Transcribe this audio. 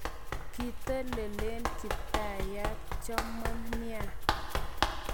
" Kitolelen kiptayat chomon nia.